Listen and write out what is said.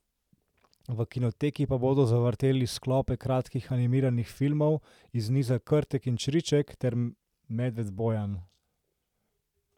V kinoteki pa bodo zavrteli sklope kratkih animiranih filmov iz niza Krtek in Čriček ter Medved Bojan.